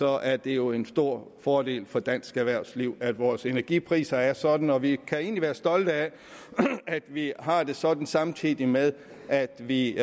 er det jo en stor fordel for dansk erhvervsliv at vores energipriser er sådan og vi kan egentlig være stolte af at vi har det sådan samtidig med at vi